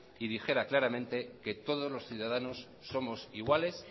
y dijera claramente que todos los ciudadanos somos iguales